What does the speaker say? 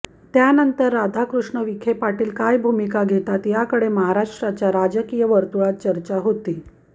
त्यांनतर राधाकृष्ण विखे काय भूमिका घेतात याकडे महाराष्ट्राच्या राजकीय वर्तुळात चर्चा होती